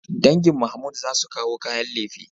Dangin Mahmood za su kawo kayan lefe.